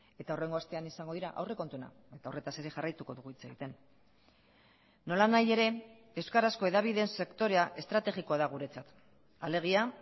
eta hurrengo astean izango dira aurrekontuena eta horretaz ere jarraituko dugu hitz egiten nolanahi ere euskarazko hedabideen sektorea estrategikoa da guretzat alegia